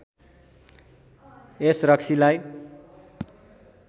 यस रक्सीलाई